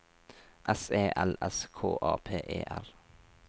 S E L S K A P E R